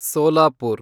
Solapur